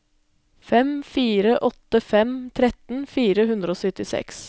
fem fire åtte fem tretten fire hundre og syttiseks